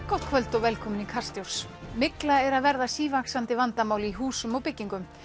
gott kvöld og velkomin í Kastljós mygla er að verða sívaxandi vandamál í húsum og byggingum